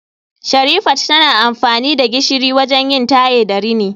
Sherifat tana amfani da gishiri wajen yin taye da rini